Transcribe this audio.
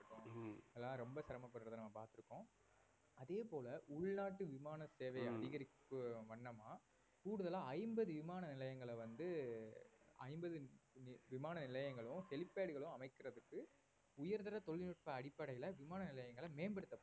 அதேபோல உள்நாட்டு விமான சேவை அதிகரிக்கும் வண்ணமா கூடுதலா ஐம்பது விமான நிலையங்களை வந்து ஐம்பது விமான நிலையங்களும் helipad களும் அமைக்கிறதுக்கு உயர்தர தொழில்நுட்ப அடிப்படையில விமான நிலையங்களை மேம்படுத்த